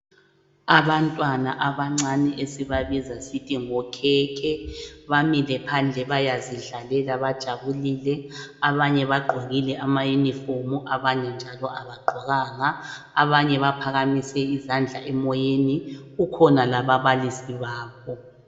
Abantwana abancane esiba biza sithi ngokhekhe bamile phandle bayazidlalela bajabulile abanye bagqokile amauniform abanye njalo abagqokanga . Abanye baphakamise izandla emoyeni , kukhona lababalisi babo .